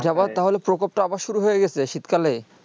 তা হলে প্রকোপ তা আবার শুরু হয়ে গেছে শীত কালে